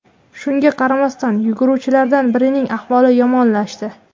Shunga qaramasdan, yuguruvchilardan birining ahvoli yomonlashdi.